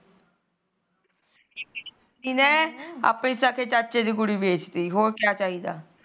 ਜਿਹਨੇ ਆਪਣੇ ਸਕੇ ਚਾਚੇ ਦੀ ਕੁੜੀ ਬੇਚਤੀ ਹੋਰ ਕਿਆ ਚਾਹੀਦਾ